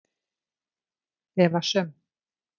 Eva Sum.